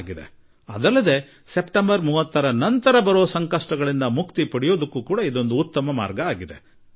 ಮತ್ತೊಂದು ರೀತಿಯಲ್ಲಿ ಸೆಪ್ಟೆಂಬರ್ 30ರ ನಂತರ ಉಂಟಾಗುವ ತೊಂದರೆಗಳಿಂದ ಮುಕ್ತಿಯ ಮತ್ತೊಂದು ಮಾರ್ಗ